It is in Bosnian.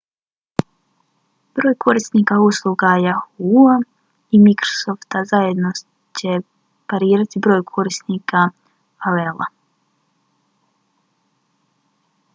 broj korisnika usluga yahoo!-a i microsofta zajedno će parirati broju korisnika aol-a